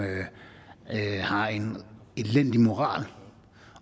har en elendig moral